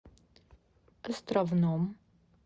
островном